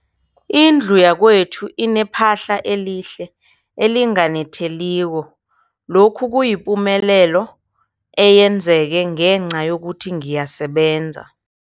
Indlu yakwethu inephahla elihle, elinganetheliko, lokhu kuyipumelelo eyenzeke ngenca yokuthi ngiyasebenza.